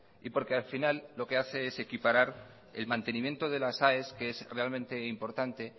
y porque al final lo que hace es equiparar el mantenimiento de las aes que es realmente importante